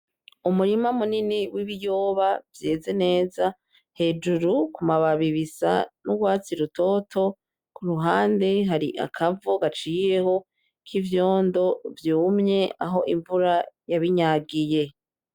Umurima munini w'ibiyoba vyeze neza, hejuru ku mababi bisa n'urwatsi rutoto, ku ruhande hari akavo gaciyeho k'ivyondo vyumye aho imvura yabinyagiye.